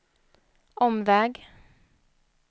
omväg